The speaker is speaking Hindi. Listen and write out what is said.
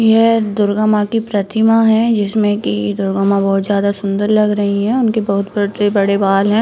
यह दुर्गा माँ की प्रतिमा है जिसमें की दुर्गा माँ बहुत ज्यादा सुन्दर लग रही है उनके बहुत बड़े बाल हैं।